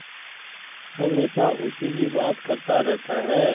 हमेशा उसी की बात करता रहता है